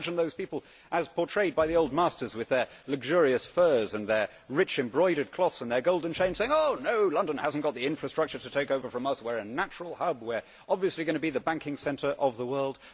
I can imagine those people as portrayed by the Old Masters with their luxurious furs and their rich, embroidered cloths and their golden chains saying no, London does not have the infrastructure to take over from us, we are a natural hub, we are obviously going to be the banking centre of the world'.